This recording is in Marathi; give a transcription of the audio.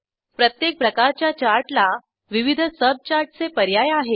प्रत्येक प्रकारच्या चार्टला विविध सबचार्टचे पर्याय आहेत